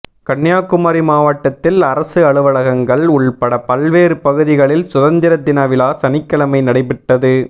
கன்னியாகுமரி மாவட்டத்தில் அரசு அலுவலகங்கள் உள்பட பல்வேறு பகுதிகளில் சுதந்திர தினவிழா சனிக்கிழமை நடைபெற்றது